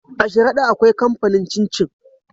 A sharada akwai kamfanin cin cin